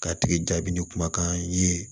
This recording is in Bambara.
K'a tigi jaabi ni kumakan i ye